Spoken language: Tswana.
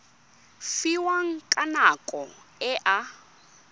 fiwang ka nako e a